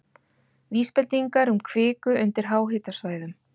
Vísbendingar um kviku undir háhitasvæðum